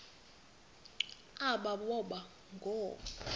aba boba ngoo